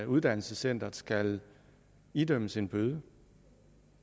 uddannelsescenteret skal idømmes en bøde